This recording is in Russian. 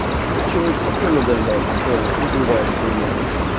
тот человек спокойно дождался понял ну бывает хуйня нахуй